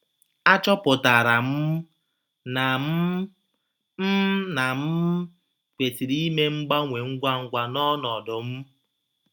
A chọpụtara m na m m na m kwesịrị ime mgbanwe ngwa ngwa n’ọnọdụ m.